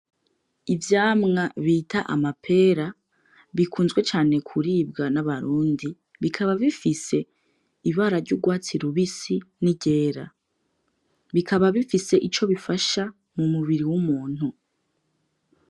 Ivyamwa bita amapera bikunzwe cane kuribwa n'abarundi bikaba bifise ibara ry'urwatsi rubisi niryera, bikabab bifise ivyo bifasha mu mubiri w'umuntu.